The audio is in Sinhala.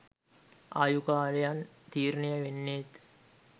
ආයු කාලයන් තීරණය වෙන්නේත්